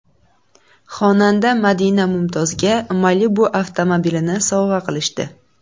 Xonanda Madina Mumtozga Malibu avtomobilini sovg‘a qilishdi .